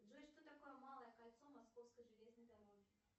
джой что такое малое кольцо московской железной дороги